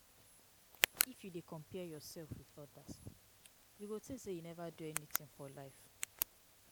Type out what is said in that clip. If you dey compare yourself with odas, you go think sey you neva do anything for life.